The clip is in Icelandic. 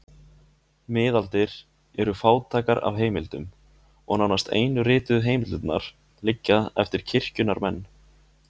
Miðaldir eru fátækar af heimildum og nánast einu rituðu heimildirnar liggja eftir kirkjunnar menn.